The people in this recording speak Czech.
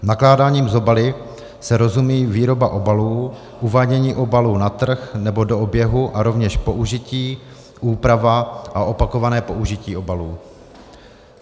Nakládáním s obaly se rozumí výroba obalů, uvádění obalů na trh nebo do oběhu a rovněž použití, úprava a opakované použití obalů.